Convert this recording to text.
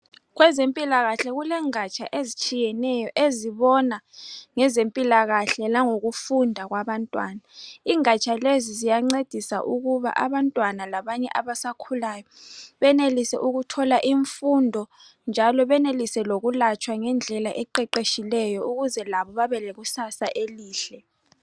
Kwezempilakahle kulengatsha ezitshiyeneyo ezibona ngezempilakahle langokufunda kwabantwana. Ingatsha lezi ziyancedisa abantwana labanye abasakhulayo benelise ukuthola imfundo njalo benelise lokulatshwa ngendlela eqeqeshileyo ukuze labo bebelekusasa elihle.